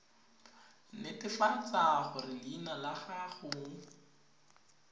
netefatsa gore leina la gago